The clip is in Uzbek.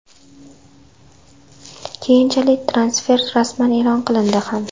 Keyinchalik transfer rasman e’lon qilindi ham.